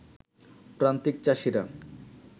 প্রান্তিক চাষীরা